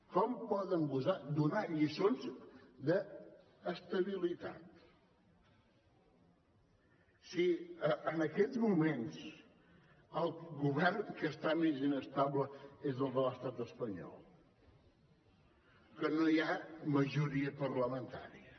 com poden gosar donar lliçons d’estabilitat si en aquests moments el govern que està més inestable és el de l’estat espanyol que no hi ha majoria parlamentària